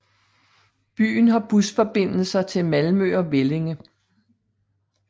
Byen har busforbindelser til Malmø og Vellinge